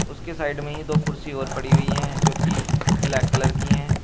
उसके साइड में ही दो कुर्सी और पड़ी हुई है जो की ब्लैक कलर की हैं।